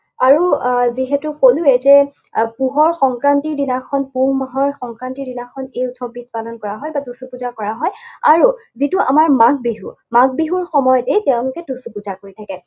আৰু আহ যিহেতু কলোৱেই যে পুহৰ সংক্ৰান্তিৰ দিনাখন, পুহ মাহৰ সংক্ৰান্তিৰ দিনাখন এই উৎসৱবিধ পালন কৰা হয় বা টুচু পূজা কৰা হয়। আৰু যিটো আমাৰ মাঘ বিহু, মাঘ বিহুৰ সময়তেই তেওঁলোকে টুচু পূজা কৰি থাকে।